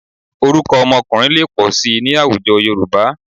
Orúkọ ọmọkùnrin lè pọ̀ síi ní àwùjọ Yorùbá